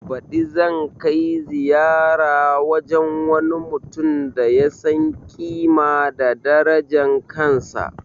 Baɗi zan kai ziyara wajen wani mutum da ya san ƙima da darajan kansa